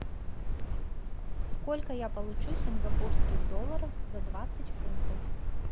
сколько я получу сингапурских долларов за двадцать фунтов